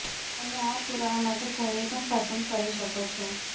તમે આ પુરાવા માટે કોઈની પણ પસંદ કરી શકો છો